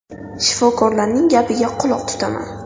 Shifokorlarning gapiga quloq tutaman.